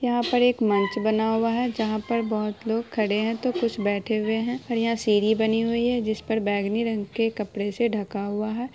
यहाँ पर एक मंच बना हुआ है जहाँ पर बहुत लोग खड़े है तो कुछ बैठे हुए है यहाँ सीढ़ी बनी हुई जिस पर बैगनी रंग के कपड़े से ढका हुआ है।